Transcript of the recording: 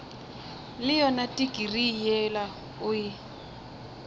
le yona tikirii yela o